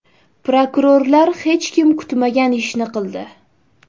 Prokurorlar hech kim kutmagan ishni qildi.